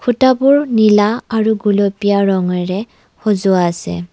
খুঁটাবোৰ নীলা আৰু গুলপীয়া ৰঙেৰে সজোৱা আছে।